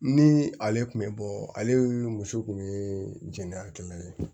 Ni ale tun bɛ bɔ ale muso kun ye jɛngɛla ye